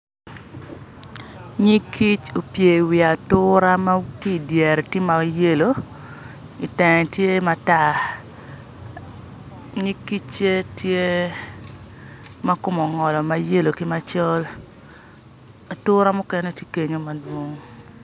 Nyig kic opye i wi atura ma ki dyere tye mayelo itenge tye matar nyig kic-ce tye makome ongolo mayelo ki macol atura mukene tye kenyo madwong